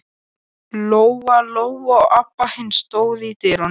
Natanael, lækkaðu í hátalaranum.